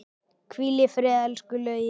Hvíl í friði, elsku Laugi.